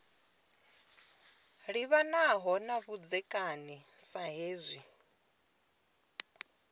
livhanaho na vhudzekani sa hezwi